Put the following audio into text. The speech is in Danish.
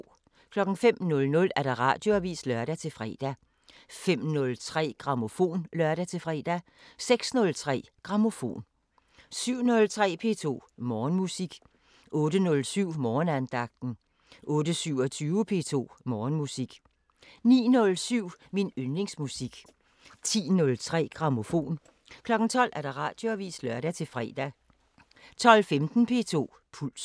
05:00: Radioavisen (lør-fre) 05:03: Grammofon (lør-fre) 06:03: Grammofon 07:03: P2 Morgenmusik 08:07: Morgenandagten 08:27: P2 Morgenmusik 09:07: Min yndlingsmusik 10:03: Grammofon 12:00: Radioavisen (lør-fre) 12:15: P2 Puls